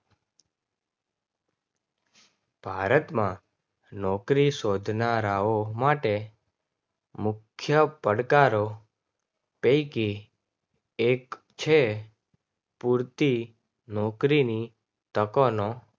ભારતમાં નોકરી શોધનારાઓ માટે મુખ્ય પડકારો પૈકી એક છે. પૂરતી નોકરીની તકોનો